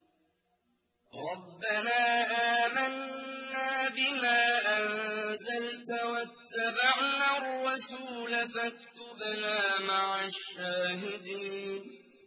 رَبَّنَا آمَنَّا بِمَا أَنزَلْتَ وَاتَّبَعْنَا الرَّسُولَ فَاكْتُبْنَا مَعَ الشَّاهِدِينَ